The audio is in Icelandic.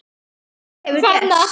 En hvað hefur gerst?